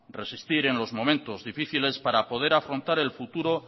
resistir en los momentos difíciles para poder afrontar el futuro